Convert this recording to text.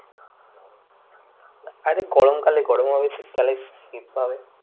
আরে গরম কালে গরম হবে, শীত কালে শীত হবে।